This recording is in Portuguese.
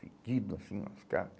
Fedido, assim, os cara.